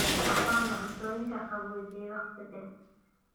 Ha isticmaalin cuntooyinka qaboojiyey wakhti dheer.